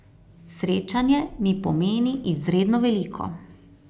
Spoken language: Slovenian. Srečanje mi pomeni izredno veliko.